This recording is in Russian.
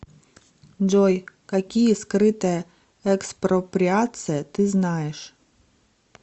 джой какие скрытая экспроприация ты знаешь